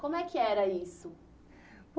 Como é que era isso?